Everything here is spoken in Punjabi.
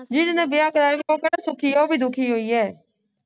ਜੀਹਦੇ ਨਾਲ ਵਿਆਹ ਕਰਵਾਇਆ ਸੀ ਉਹ ਕਿਹੜਾ ਸੌਖੀ ਐ ਉਹ ਵੀ ਦੁਖੀਯੋਂ ਹੀ ਹੈ